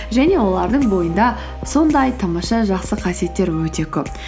және олардың бойында сондай тамаша жақсы қасиеттер өте көп